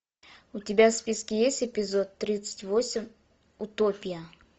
у тебя в списке есть эпизод тридцать восемь утопия